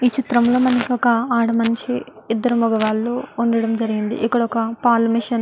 ఈ చిత్రం లో మనకి ఒక ఆడ మనిషి ఇద్దరు మొగవాళ్ళు వుండడం జరిగింది ఇక్కడ ఒక పాలు మెషిన్ --